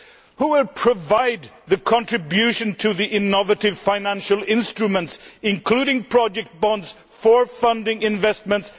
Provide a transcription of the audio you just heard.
Who will provide the contribution to the innovative financial instruments including project bonds for funding investments?